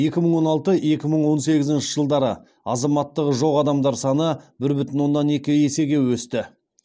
екі мың он алты екі мың он сегізінші жылдары азаматтығы жоқ адамдар саны бір бүтін оннан екі есеге өсті